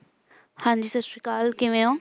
ਹਾਂਜੀ ਸਤਿ ਸ੍ਰੀ ਅਕਾਲ ਕਿਵੇਂ ਹੋ?